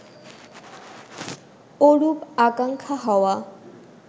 ওরূপ আকাঙ্খা হওয়া